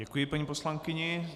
Děkuji paní poslankyni.